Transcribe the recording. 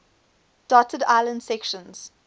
dotted inland sections